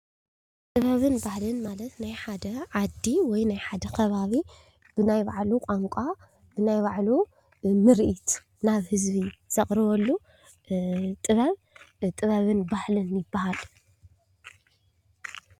ጥበብን ባህልን ማለት ናይ ሓደ ዓዲ ወይ ናይ ሓደ ከባቢ ብናይ ባዕሉ ቋንቋ፣ ብናይ ባዕሉ ምርኢት ናብ ህዝቢ ዘቕርበሉ ጥበብ ጥበብን ባህልን ይበሃል።